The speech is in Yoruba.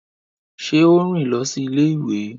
Ṣe o rìn lọ si ilé-ìwé?